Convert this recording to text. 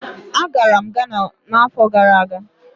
Agara m Ghana n'afọ gara aga.